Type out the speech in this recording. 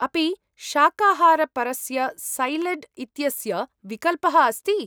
अपि शाकाहारपरस्य सैलड् इत्यस्य विकल्पः अस्ति ?